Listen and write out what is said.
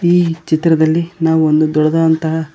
ಈ ಚಿತ್ರದಲ್ಲಿ ನಾವು ಒಂದು ದೊಡ್ಡದಾದಂತಹ--